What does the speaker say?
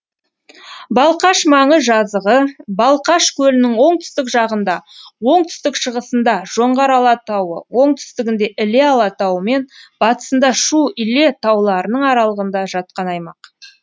балқаш маңы жазығы балқаш көлінің оңтүстік жағында оңтүстік шығысында жоңғар алатауы оңтүстігінде іле алатауы мен батысында шу іле тауларының аралығында жатқан аймақ